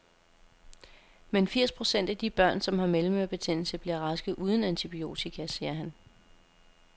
Men firs procent af de børn, som har mellemørebetændelse, bliver raske uden antibiotika, siger han.